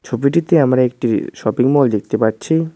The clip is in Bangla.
ছবিটিতে আমরা একটি শপিং মল দেখতে পাচ্ছি।